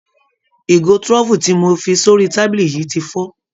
Ìgò trophy tí mo fi sórí tábìlì yìí ti fọ́.